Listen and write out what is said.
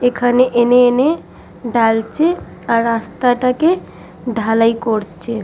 এখানে এনে এনে ডালচে আর রাস্তা টাকে ঢালাই করচে।